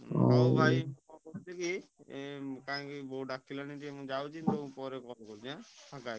ହଉ ଭାଇ କଣ କରୁଛି କି କାଇଁକି ବୋଉ ଡାକିଲାଣି ଟିକେ ମୁଁ ଯାଉଛି ମୁଁ ପରେ call କରୁଛି ଫାଙ୍କା ହେଇକି।